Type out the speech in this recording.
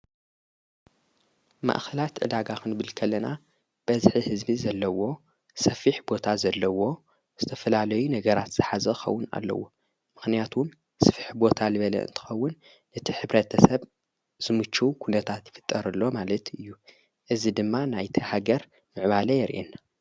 ማእኸላት ዕዳጋኽን ብልከለና በዝኂ ሕዝቢ ዘለዎ ሰፊሕ ቦታ ዘለዎ ዝተፍላለይ ነገራት ኣሓዘኸውን ኣለዎ ምኽንያቱም ስፊሕ ቦታ ልበለእንቲኸውን ነቲ ኅብረተሰብ ዝሙች ኲነታት ይፍጠርሎ ማለት እዩ እዝ ድማ ናይቲሃገር ምዕባለ የርእየና።